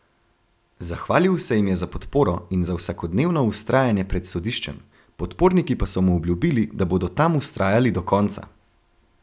Zahvalil se jim je za podporo in za vsakodnevno vztrajanje pred sodiščem, podporniki pa so mu obljubili, da bodo tam vztrajali do konca.